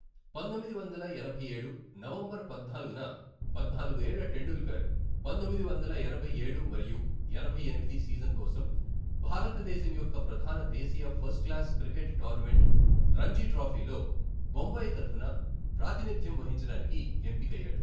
పంతొమ్మిది వందల ఎనభై ఏడు నవంబర్ పద్నాలుగున, పద్నాలుగు ఏళ్ల టెండూల్కర్ పంతొమ్మిది వందల ఎనభై ఏడు మరియు ఎనభై ఎనిమిది సీజన్ కోసం భారతదేశం యొక్క ప్రధాన దేశీయ ఫస్ట్క్లాస్ క్రికెట్ టోర్నమెంట్ రంజీ ట్రోఫీలో బొంబాయి తరఫున ప్రాతినిధ్యం వహించడానికి ఎంపికయ్యాడు.